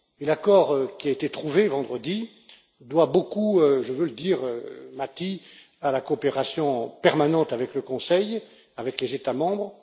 L'accord qui a été trouvé vendredi doit beaucoup je veux le dire, Matti à la coopération permanente avec le Conseil, avec les États membres.